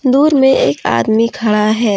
दूर मे एक आदमी खड़ा है।